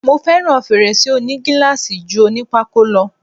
Mo fẹ́ràn fèrèsé òní gíláàsì ju oní pákó lọ.